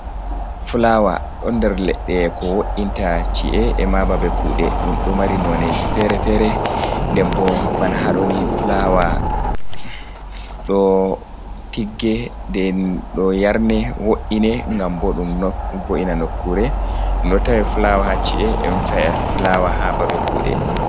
Flawa ɗo nder leɗɗe ko wo’inta ci’e, e ma babe kuuɗe. Ɗum ɗo mari noneji fere-fere, nden bo bana haa ɗoni flawa ɗo tigge, ɗe ɗo yarne, wo’ine ngam bo ɗum vo’ina nokkure. Ɗum ɗo tawi flawa haa ci’e, e ɗo tawe flawa haa babe kuuɗe.